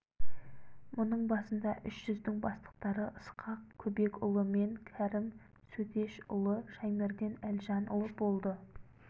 мұның басында үш жүздің бастықтары ысқақ көбекұлы мен кәрім сөтешұлы шаймерден әлжанұлы болды